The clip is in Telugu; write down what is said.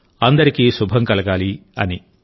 అందరికీ శుభం కలగాలి అని